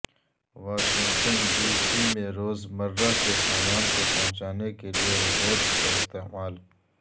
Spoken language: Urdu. واشنگٹن ڈی سی میں روزمرہ کے سامان کوپہنچانے کے لیے ربورٹس کا استعمال